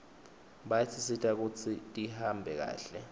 bayasisita kutsi tihambe kahle